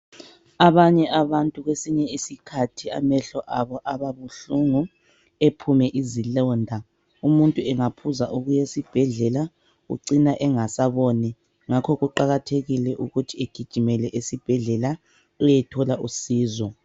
Abanye abantu kwesinye isikhathi amehlo abo aba buhlungu ephume izilonda umuntu engaphuza ukuya esibhedlela ucina engasaboni ngakho kuqakathekile ukuthi egijimele esibhedlela eyethola usizo.